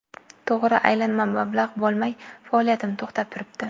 To‘g‘ri, aylanma mablag‘ bo‘lmay, faoliyatim to‘xtab turibdi.